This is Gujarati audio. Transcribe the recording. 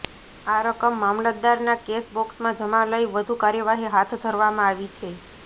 આ રકમ મામલતદારના કેશ બોક્સમાં જમા લઈ વધુ કાર્યવાહી હાથ ધરવામાં આવી છે